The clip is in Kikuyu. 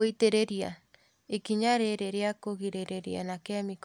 Gũitĩrĩria. Ikinya rĩrĩ ria kũgirĩrĩria na kĩmĩko